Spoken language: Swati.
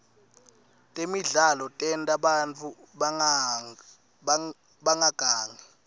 temidlalo tenta bantfu bangagangi